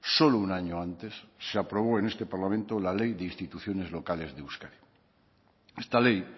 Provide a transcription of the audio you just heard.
solo un año antes se aprobó en este parlamento la ley de instituciones locales de euskadi esta ley